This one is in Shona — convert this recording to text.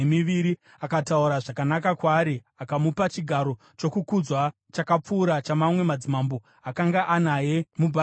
Akataura zvakanaka kwaari akamupa chigaro chokukudzwa chakapfuura chamamwe madzimambo akanga anaye muBhabhironi.